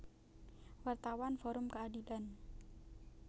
Wartawan Forum Keadilan